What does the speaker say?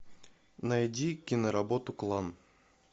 найди киноработу клан